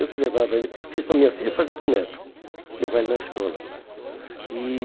Eu que levava ele, o que eu fiz para minhas filhas eu fazia para o neto, levava ele na escola. E